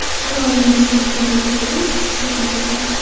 Orol dengizining qurigan tubidan chuchuk suv topildi .